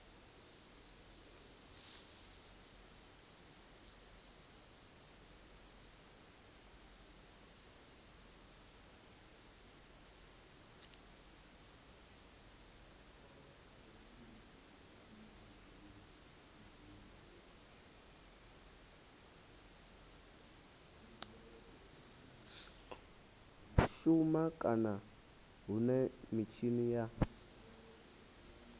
shuma kana hune mitshini ya